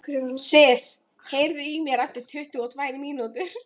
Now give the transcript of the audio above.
Sif, heyrðu í mér eftir tuttugu og tvær mínútur.